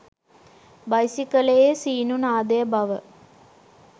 බයිසිකලයේ සීනු නාදය බව